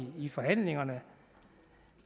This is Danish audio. i forhandlingerne